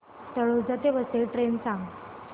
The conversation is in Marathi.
तळोजा ते वसई ट्रेन सांग